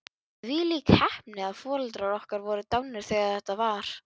Þvílík heppni að foreldrar okkar voru dánir þegar þetta var.